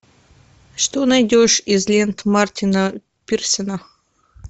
что найдешь из лент мартина пирсена